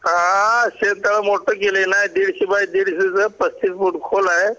अ शेत तलाव मोठं केलं ना दीडशे बाय दीडशेच्या पस्तीस फूट खोल आहे